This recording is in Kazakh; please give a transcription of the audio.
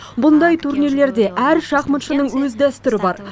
бұндай турнирлерде әр шахматшының өз дәстүрі бар